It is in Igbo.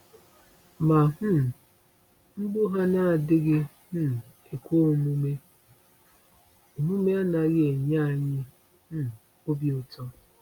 “Ma um mgbu ha na-adịghị um ekwe omume omume anaghị enye anyị um obi ụtọ.